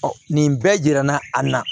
nin bɛɛ jira na a na